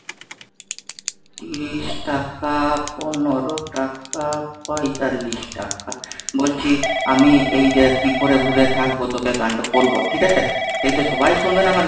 তিরিশ টাকা পনেরো টাকা পঁয়তাল্লিশ টাকা, বলছি আমি এই কি করে ভুলে থাকবো তোকে গান টো করবো ঠিক আছে? তো এইটা সবাই শুনবে না আমার